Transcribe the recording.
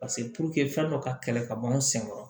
fɛn dɔ ka kɛlɛ ka bɔ an sen kɔrɔ